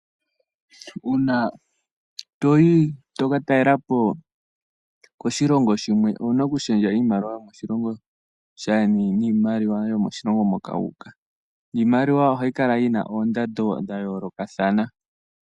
Uuna toyi toka taalelapo koshilongo shimwe owuna okushendja iimaliwa yomoshilongo shandjeni niimaliwa yomoshilongo moka wu uka. Iimaliwa ohayi kala yina oondando dhayoolokathana.